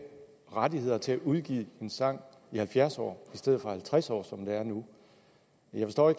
rettighederne til at udgive en sang i halvfjerds år i stedet for i halvtreds år som det er nu jeg forstår